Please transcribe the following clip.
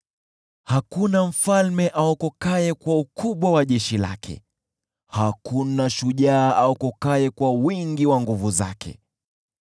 Hakuna mfalme aokokaye kwa ukubwa wa jeshi lake; hakuna shujaa aokokaye kwa wingi wa nguvu zake.